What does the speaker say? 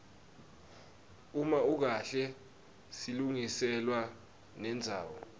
uma ukahle silungiselwa nendzawo